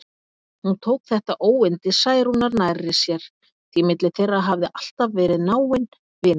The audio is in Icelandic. Hún tók þetta óyndi Særúnar nærri sér, því milli þeirra hafði alltaf verið náin vinátta.